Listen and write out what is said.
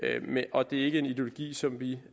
og det er ikke en ideologi som vi